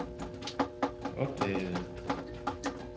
opdagede